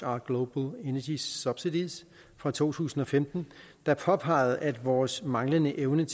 are global energy subsidies fra to tusind og femten der påpegede at vores manglende evne